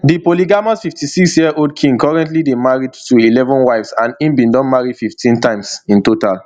di polygamous fifty-sixyearold king king currently dey married to eleven wives and im bin don marry fifteen times in total